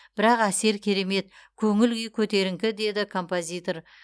бірақ әсері керемет көңіл күй көтеріңкі деді композитор